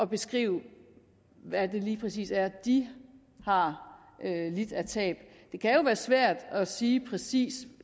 beskrive hvad det lige præcis er de har lidt af tab det kan være svært at sige præcis